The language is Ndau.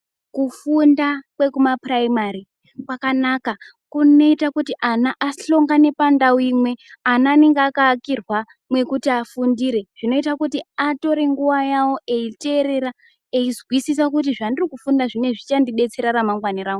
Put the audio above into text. Kufunda kwekumapuraimari kwakanaka kunoita kuti ana ahlongane pandau imwe. Ana anenge akaakirwa mwekuti afundire zvinoita kuti atore nguva yavo eiterera eizwisisa kuti zvendirikufunda zvineizvi zvichandibetsera ramangwani rangu.